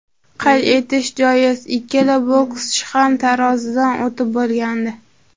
Qayd etish joiz, ikkala bokschi ham tarozidan o‘tib bo‘lgandi.